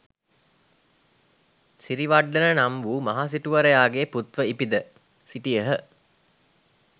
සිරිවඩ්ඩන නම් වූ මහ සිටුවරයාගේ පුත්ව ඉපිද සිටියහ.